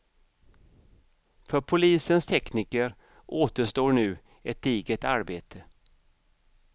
För polisens tekniker återstår nu ett digert arbete.